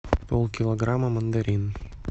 полкилограмма мандарин